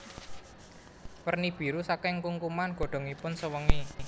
Werni biru saking kumkuman godhongipun sewengi